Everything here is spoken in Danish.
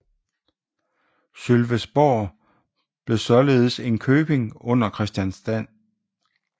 Sølvesborg blev således en køping under Kristianstad